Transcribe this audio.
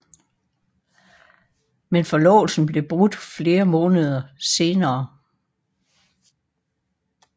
Men forlovelsen blev brudt flere måneder senere